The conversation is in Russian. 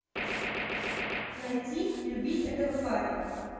найти люби этого парня